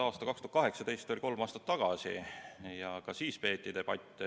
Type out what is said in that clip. Aasta 2018 oli kolm aastat tagasi ja ka siis peeti debatte.